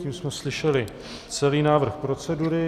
Tím jsme slyšeli celý návrh procedury.